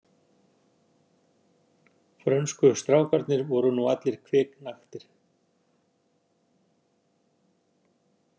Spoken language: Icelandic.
Frönsku strákarnir voru nú allir kviknaktir.